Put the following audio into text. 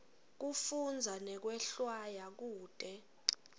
kufundza nekwehlwaya kute